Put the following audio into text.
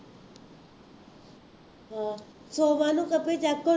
ਸੋਮਵਾਰ ਨੂੰ copy copy ਹੋਣੀ